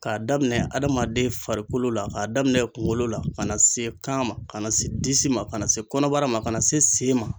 K'a daminɛ adamaden farikolo la k'a daminɛ kunkolo la ka na se kan ma ka na se disi ma ka na se kɔnɔbara ma ka na se sen ma